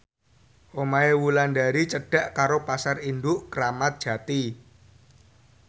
omahe Wulandari cedhak karo Pasar Induk Kramat Jati